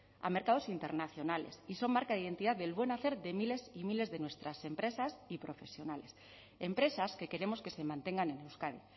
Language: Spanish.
a mercados internacionales y son marca de identidad del buen hacer de miles y miles de nuestras empresas y profesionales empresas que queremos que se mantengan en euskadi